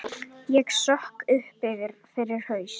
Ég sökk upp fyrir haus.